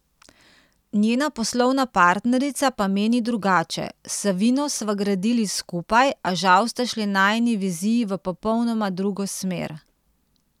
Njena poslovna partnerica pa meni drugače: 'S Savino sva gradili skupaj, a žal sta šli najini viziji v popolnoma drugo smer.